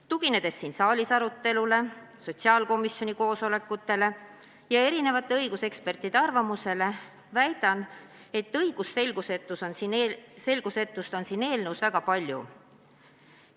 Tuginedes siin saalis arutatule, sotsiaalkomisjoni koosolekutel arutatule ja erinevate õigusekspertide arvamusele, väidan, et õigusselgusetust on selles eelnõus väga palju.